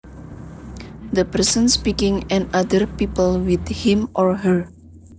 The person speaking and other people with him or her